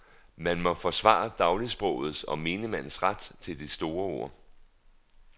Man må forsvare dagligsprogets og menigmands ret til de store ord.